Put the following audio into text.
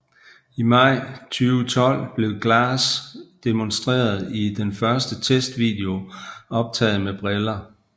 I maj 2012 blev Glass demonstreret i den første testvideo optaget med briller